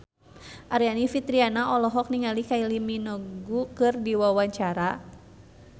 Aryani Fitriana olohok ningali Kylie Minogue keur diwawancara